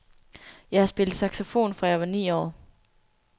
Jeg har spillet saxofon fra jeg var ni år.